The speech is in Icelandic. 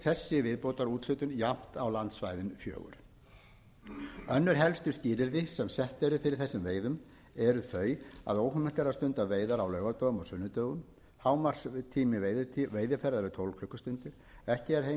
skiptist þessi viðbótarúthlutun jafnt á landsvæðin fjögur önnur helstu skilyrði sem sett eru fyrir þessum veiðum eru þau að óheimilt er að stunda veiðar á laugardögum og sunnudögum hámarkstími veiðiferðar er tólf klukkustundir ekki er heimilt